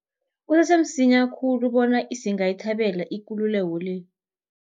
Kusese msinya khulu bona singayithabela ikululeko le.